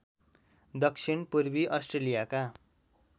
दक्षिण पूर्वी अस्ट्र्रेलियाका